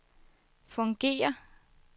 fungerer